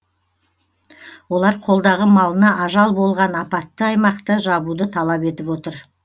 олар қолдағы малына ажал болған апатты аймақты жабуды талап етіп отыр